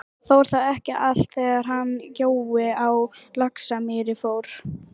Fór þá ekki allt, þegar hann Jói á Laxamýri fór?